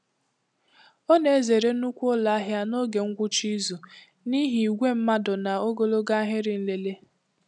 Ọ na-ezere nnukwu ụlọ ahịa n'oge ngwụcha izu n'ihi igwe mmadụ na ogologo ahịrị nlele.